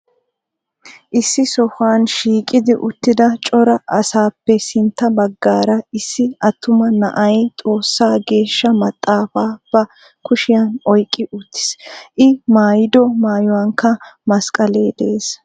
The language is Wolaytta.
Issi sohuwan shiiqqi uttida cora asaappe sintta baggaara issi attuma na'ay Xoossaa geeshsha maxaafaa ba kushshiyan oyqqi uttiis. I maayiddo maayuwankka masqqalee de'ees.